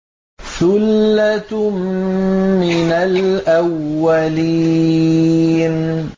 ثُلَّةٌ مِّنَ الْأَوَّلِينَ